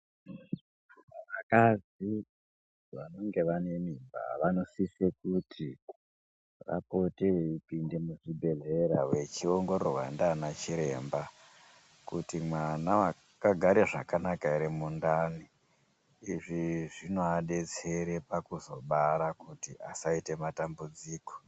Vakadzi vanenge vane mimba vanosisira kupekupa vapote veipinda muzvibhehleya vachiongororwa nana chiremba kuti mwana wakagara zvakanaka here mundani izvi zvinoadetsera pakuzobara asaite matambudziko.